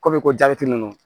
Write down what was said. Komi ko ninnu